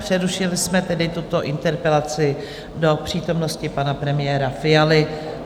Přerušili jsme tedy tuto interpelaci do přítomnosti pana premiéra Fialy.